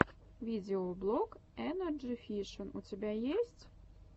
видеоблог энерджи фишин у тебя есть